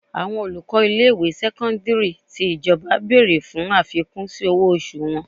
Àwọn olùkọ́ ilé ìwé sẹ́kọ́ńdírì tí ìjọba bèrè fún àfikún sí owó oṣù wọn.